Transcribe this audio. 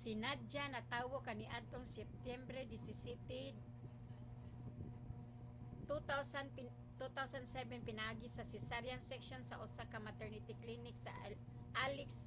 si nadia natawo kaniadtong septyembre 17 2007 pinaagi sa cesarean section sa usa ka maternity clinic sa aleisk